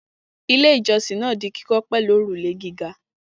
Ilé-ìjọsìn náà di kíkọ́ pẹ̀lú òrùlé gíga.